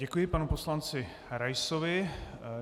Děkuji panu poslanci Raisovi.